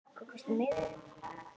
Góðan dag. Hvað kostar miðinn?